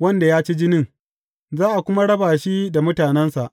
wanda ya ci jinin, za a kuma raba shi da mutanensa.